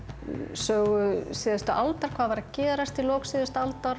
sögu síðustu aldar hvað var að gerast í lok síðustu aldar